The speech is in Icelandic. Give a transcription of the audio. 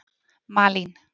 Malín